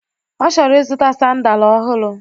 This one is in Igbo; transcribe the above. Ọ chọrọ ịzụta sandalu ọhụrụ